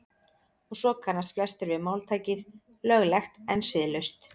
og svo kannast flestir við máltækið „löglegt en siðlaust“